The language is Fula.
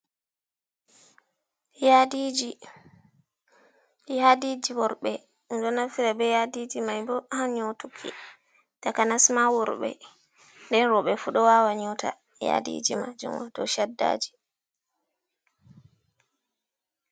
Yadiiji worɓe ɗum ɗo naftira be yadiji mai bo ha nyotuki, takanasma worɓe den rooɓe fu ɗo wawa nyoota yadiiji majum waato shaddaji.